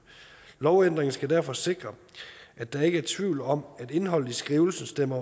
lovændringen skal derfor sikre at der ikke er tvivl om at indholdet i skrivelsen stemmer